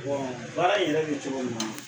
baara in yɛrɛ bɛ cogo min na.